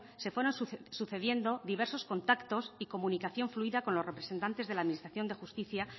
se fueron sucediendo diversos contactos y comunicación fluida con los representantes de la administración de justicia